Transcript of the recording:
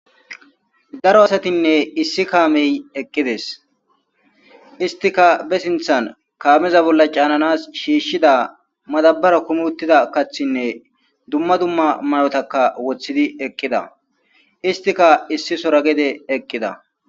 Daro asatinne issi kaamey eqqides istika be sinthan kaameza bolla caananas shiishshida madabara kumuttida kathinne dumma dumma may7otaka wothidi eqqida istika issi sora gede eqqida